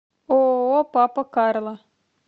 ооо папа карло